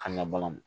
Kan ga ban